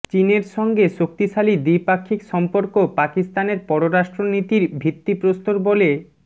চীনের সঙ্গে শক্তিশালী দ্বিপাক্ষিক সম্পর্ক পাকিস্তানের পররাষ্ট্রনীতির ভিত্তিপ্রস্তর বলে